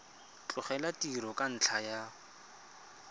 tlogela tiro ka ntlha ya